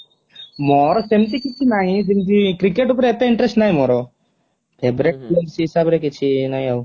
ମୋର ସେମିତି କିଛି ନାହିଁ ଯେମିତି କ୍ରିକେଟ ଉପରେ ଏତେ interest ନାହିଁ ମୋର favorite ହିସାବରେ କିଛି ନାହିଁ ଆଉ